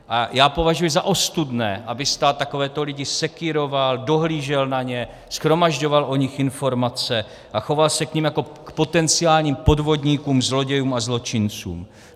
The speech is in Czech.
A já považuji za ostudné, aby stát takovéto lidi sekýroval, dohlížel na ně, shromažďoval o nich informace a choval se k nim jako k potenciálním podvodníkům, zlodějům a zločincům.